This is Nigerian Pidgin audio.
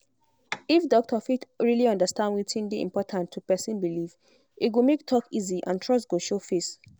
if doctor fit really understand wetin dey important to person belief e go make talk easy and trust go show face.